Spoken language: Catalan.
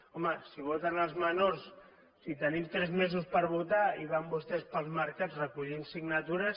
home si voten els menors si tenim tres mesos per votar i van vostès pels mercats recollint signatures